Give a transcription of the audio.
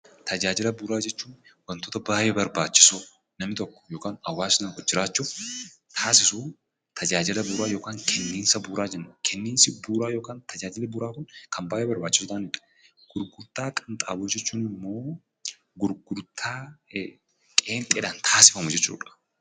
Tajaajila bu'uuraa hechuun wantoota baayyee barbaachisoo namni tokko yookiin hawwasni tokkojiraachuuf taasisuu tajaajila bu'uuraa yookiin kenniinsa bu'uuraa jenna. Kenniinsa bu'uura kun kan baayyee barbaachisoo ta'anii dha. Gurgurtaa qinxaaboo jechuun immoo gurgurtaa qeenxeedhaan taasifamu jechuu dha.